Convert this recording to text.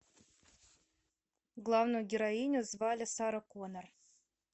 главную героиню звали сара конор